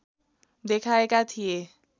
देखाएका थिए